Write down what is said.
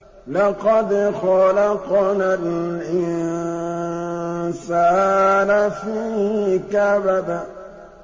لَقَدْ خَلَقْنَا الْإِنسَانَ فِي كَبَدٍ